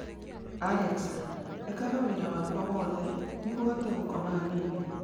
Alexa, ĩkaga wĩra wakwa wothe nĩguo hote gũkoma hanini